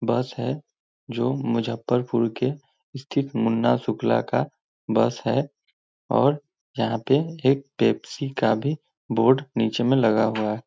बस है जो मुजफ्फरपुर के स्तिथ मुना सुखला का बस है और यहाँ पे एक पेस्पसी का भी बोर्ड नीचे में लगा हुआ हैं।